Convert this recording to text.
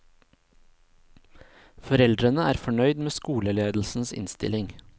Foreldrene er fornøyd med skoleledelsens innstilling.